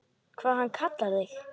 Hvað hann kallar þig?